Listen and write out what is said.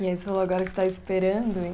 E esse rolo agora que você está esperando, hein?